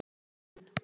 Ég kom inn.